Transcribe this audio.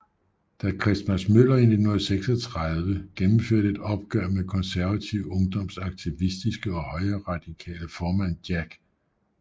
Da Christmas Møller i 1936 gennemførte et opgør med Konservativ Ungdoms aktivistiske og højreradikale formand Jack G